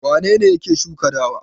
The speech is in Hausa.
Wane ne yake shuka dawa?